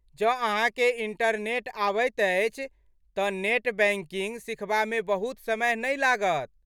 जँ अहाँकेँ इंटरनेट आबैत अछि तऽ नेट बैंकिंग सिखबामे बहुत समय नहि लागत।